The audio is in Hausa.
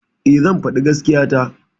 E, zan faɗi gaskiya ta.